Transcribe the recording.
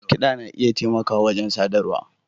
Kiɗa yana taimakawa wajen sadarwa